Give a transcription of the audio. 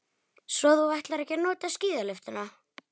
Svo þú ætlar ekki að nota skíðalyftuna.